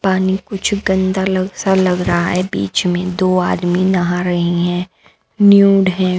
पानी कुछ गंदा लग सा लग रहा है बीच में दो आदमी नहा रहे हैं न्यूड हैं।